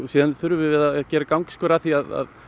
síðan þurfum við að gera gangskör að því að